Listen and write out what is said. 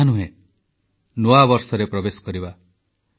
ମୋର ପ୍ରିୟ ଦେଶବାସୀ ନମସ୍କାର 2019ର ବିଦାୟ ମୁହୂର୍ତ୍ତ ଆମ ଆଗରେ ରହିଛି